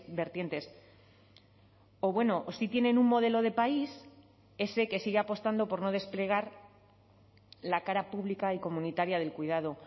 vertientes o bueno o sí tienen un modelo de país ese que sigue apostando por no desplegar la cara pública y comunitaria del cuidado